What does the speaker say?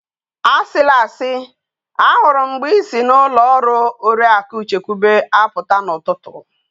Asila asi! Ahụrụ m mgbe i si n:ụlọ ọrụ oriaku chekwube apụta n'ụtụtụ.